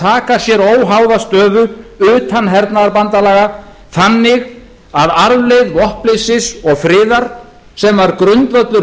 taka sér óháða stöðu utan hernaðarbandalaga þannig að arfleifð vopnleysis og friðar sem var grundvöllur